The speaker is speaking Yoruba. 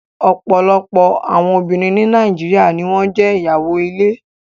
Ọ̀pọ̀lọpọ̀ àwọn obìnrin ní Nàìjíríà ni wọn jẹ́ ìyàwó ilé